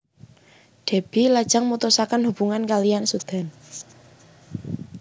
Déby lajeng mutusaken hubungan kaliyan Sudan